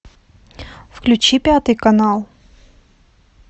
включи пятый канал